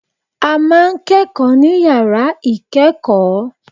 A ma ń kẹ́kọ̀ọ́ ní yàrá ìkẹ́kọ̀ọ́.